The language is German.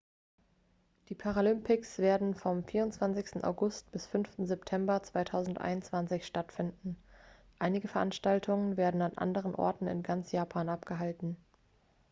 die paralympics werden vom 24. august bis 5. september 2021 stattfinden einige veranstaltungen werden an anderen orten in ganz japan abgehalten